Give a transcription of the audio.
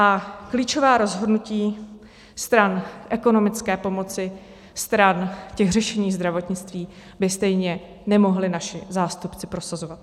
A klíčová rozhodnutí stran ekonomické pomoci, stran těch řešení zdravotnictví by stejně nemohli naši zástupci prosazovat.